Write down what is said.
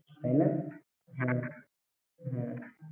তাইনা হ্যাঁ হ্যাঁ।